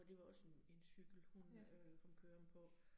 Og det var også en en cykel, hun øh kom kørende på